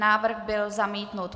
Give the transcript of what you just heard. Návrh byl zamítnut.